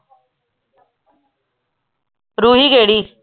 ਰੂਹੀ ਕਿਹੜੀ